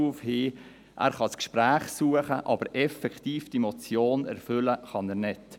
Er kann das Gespräch suchen, aber die Motion effektiv erfüllen kann er nicht.